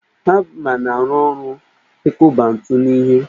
Hama na-arụ ọrụ ikụba ńtù n'ihe